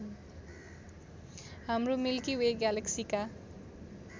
हाम्रो Milky Way ग्यालेक्सीका